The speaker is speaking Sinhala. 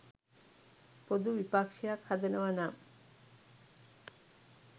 පොදු විපක්‍ෂයක් හදනව නම්